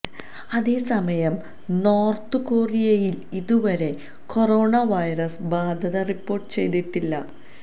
അതേസമയം നോര്ത്തു കൊറിയയില് ഇതുവരെ കൊറോണ വൈറസ് ബാധ റിപ്പോര്ട്ട് ചെയ്തിട്ടില്ല